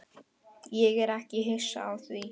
Ég er ekki hissa á því.